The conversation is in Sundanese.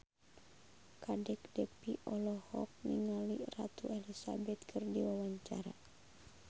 Kadek Devi olohok ningali Ratu Elizabeth keur diwawancara